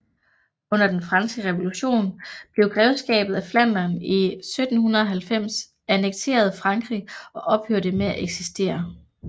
Under Den Franske Revolution blev Grevskabet Flandern i 1790 annekteret Frankrig og ophørte med at eksistere